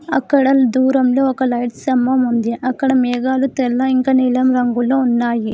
అక్కడ దూరంలో ఒక లైట్ స్తంభం ఉంది అక్కడ మేఘాలు తెల్ల ఇంకా నీలం రంగులో ఉన్నాయి.